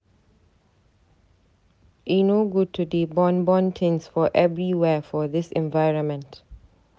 E no good to dey burn burn tins for everywhere for dis environment.